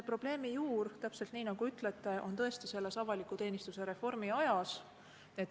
Probleemi juur, täpselt nii, nagu ütlesite, on tõesti avaliku teenistuse reformi ajas.